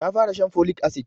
Ta fara shan folic acid